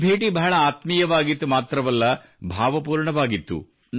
ಈ ಭೇಟಿಯು ಬಹಳ ಆತ್ಮೀಯವಾಗಿತ್ತು ಮಾತ್ರವಲ್ಲ ಭಾವಪೂರ್ಣವಾಗಿತ್ತು